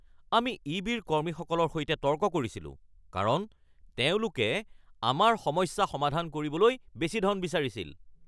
আমি ই.বি.ৰ কৰ্মীসকলৰ সৈতে তৰ্ক কৰিছিলোঁ কাৰণ তেওঁলোকে আমাৰ সমস্যা সমাধান কৰিবলৈ বেছি ধন বিচাৰিছিল